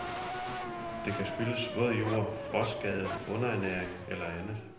Det kan skyldes våd jord, frostskade, underernæring eller andet.